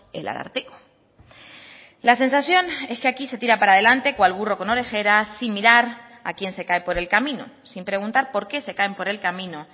el ararteko la sensación es que aquí se tira para adelante cual burro con orejeras sin mirar a quien se cae por el camino sin preguntar porqué se caen por el camino